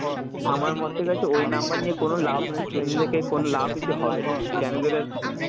আমার মতে গেছে ওই number নিয়ে কোনো লাভ নেই, student দেরকে কোনো লাভই কিছু হবে না, কেন